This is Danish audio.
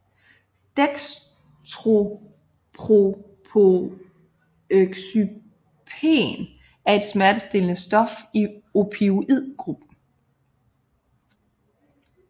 Dextropropoxyphen er et smertestillende stof i opioid gruppen